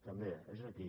també és aquí